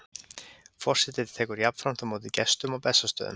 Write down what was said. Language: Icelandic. Forseti tekur jafnframt á móti gestum á Bessastöðum.